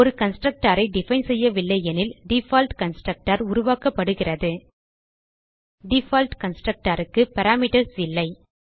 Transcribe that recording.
ஒரு constructorஐ டிஃபைன் செய்யவில்லை எனில் டிஃபால்ட் கன்ஸ்ட்ரக்டர் உருவாக்கப்படுகிறது டிஃபால்ட் கன்ஸ்ட்ரக்டர் க்கு பாராமீட்டர்ஸ் இல்லை